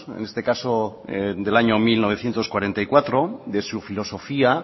en este caso del año mil novecientos cuarenta y cuatro de su filosofía